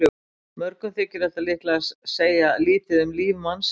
Mörgum þykir þetta líklega segja lítið um líf mannsins.